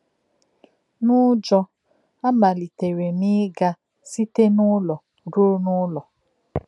N’ụ́jọ́, amalítèrè m íga site n’ụlọ ruo n’ụlọ.